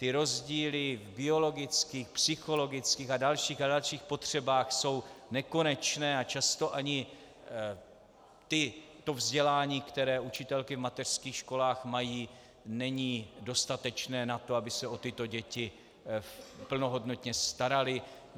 Ty rozdíly v biologických, psychologických a dalších a dalších potřebách jsou nekonečné a často ani to vzdělání, které učitelky v mateřských školách mají, není dostatečné na to, aby se o tyto děti plnohodnotně staraly.